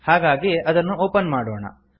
ಹಾಗಾಗಿ ಅದನ್ನು ಒಪನ್ ಮಾಡೋಣ